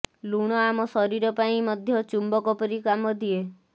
ଲୁଣ ଆମ ଶରୀର ପାଇଁ ମଧ୍ୟ ଚୁମ୍ବକ ପରି କାମ ଦିଏ